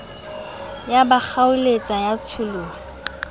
ya ba kgaoletsa ya tsholoha